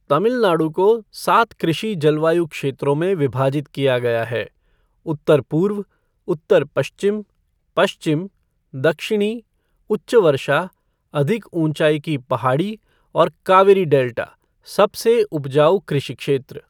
तमिलनाडु को सात कृषि जलवायु क्षेत्रों में विभाजित किया गया है, उत्तर पूर्व, उत्तर पश्चिम, पश्चिम, दक्षिणी, उच्च वर्षा, अधिक ऊंचाई की पहाड़ी, और कावेरी डेल्टा सबसे उपजाऊ कृषि क्षेत्र ।